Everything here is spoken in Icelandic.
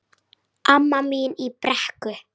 Amma mín í Brekku.